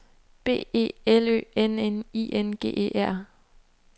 B E L Ø N N I N G E R